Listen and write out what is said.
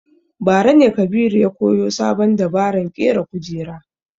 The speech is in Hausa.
Bara ne Kabiru ya koyo sabon dabaran ƙera kujera